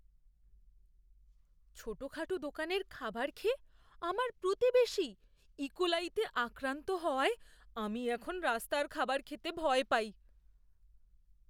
ছোটখাটো দোকানের খাবার খেয়ে আমাদের প্রতিবেশী ইকোলাইতে আক্রান্ত হওয়ায় আমি এখন রাস্তার খাবার খেতে ভয় পাই।